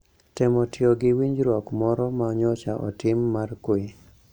Temo tiyo gi winjruok moro ma nyocha otim mar kwe